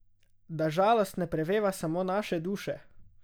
Da žalost ne preveva samo naše duše?